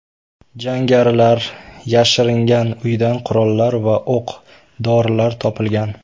Jangarilar yashiringan uydan qurollar va o‘q-dorilar topilgan.